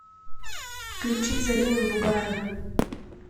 включи зарину бугаеву